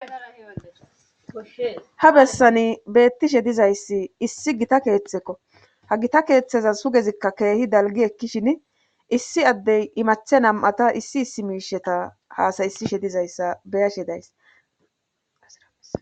ha bessani beettishe dizayssi issi gita keeththekko ha gita keeththeza sugezikka keehi dalgi ekkishin issi addey imache nam7ata issi issi miisheta haasayisishe dizayssa beyashe days